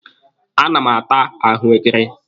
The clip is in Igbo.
A na m ata ahụekere.